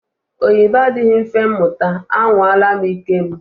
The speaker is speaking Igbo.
Oyibo adịghị mfe muta, à nwala m ike m